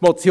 muss.